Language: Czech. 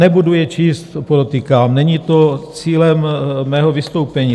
Nebudu je číst, podotýkám, není to cílem mého vystoupení.